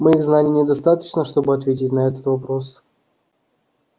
моих знаний недостаточно чтобы ответить на этот вопрос